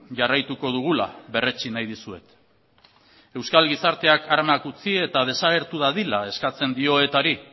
jarraituko dugula berretsi nahi dizuet euskal gizarteak armak utzi eta desagertu dadila eskatzen dio etari